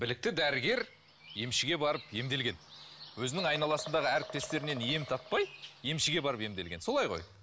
білікті дәрігер емшіге барып емделген өзінің айналасындағы әріптестерінен ем таппай емшіге барып емделген солай ғой